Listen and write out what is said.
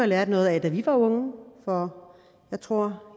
lært noget af da vi var unge for jeg tror